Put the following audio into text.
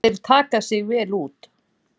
Þeir taka sig vel út.